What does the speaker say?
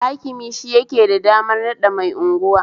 Hakimi shi yake da damar naɗa mai unguwa